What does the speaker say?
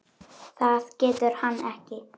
Það getur hann ekki.